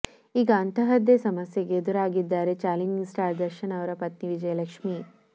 ಈಗ ಅಂತಹದ್ದೇ ಸಮಸ್ಯೆಗೆ ಎದುರಾಗಿದ್ದಾರೆ ಚಾಲೆಂಜಿಂಗ್ ಸ್ಟಾರ್ ದರ್ಶನ್ ಅವರ ಪತ್ನಿ ವಿಜಯಲಕ್ಷ್ಮಿ